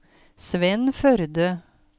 Svenn Førde